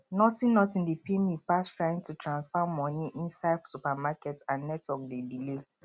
nothing nothing dey pain me pass trying to transfer money inside supermarket and network dey delay